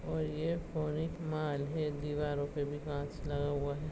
और ये है दिवारो पे भी कांच लगा हुआ है।